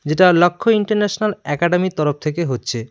যেটা লক্ষ্য ইন্টারন্যাশনাল একাডেমির তরফ থেকে হচ্ছে।